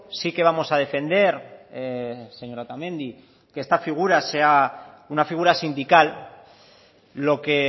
sí que vamos a defender señora otamendi que esta figura sea una figura sindical lo que